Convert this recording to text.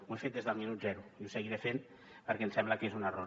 ho he fet des del minut zero i ho seguiré fent perquè em sembla que és un error